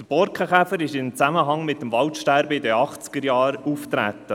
Der Borkenkäfer ist in Zusammenhang mit dem Waldsterben in den Achtzigerjahren aufgetreten.